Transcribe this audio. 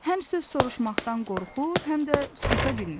Həm söz soruşmaqdan qorxur, həm də susa bilmirdi.